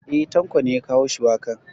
E ,Tanko ne ya kawo shuwakan.